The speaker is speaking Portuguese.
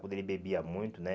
Quando ele bebia muito, né?